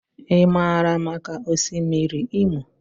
I maara maka Osimiri Imo.